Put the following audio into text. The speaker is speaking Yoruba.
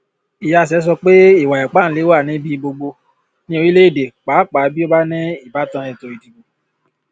iyase sọ pé ìwà ipáǹle wà níbi gbogbo ní orílẹ èdè pàápàá bí ó bá ní ìbátan ètò ìdìbò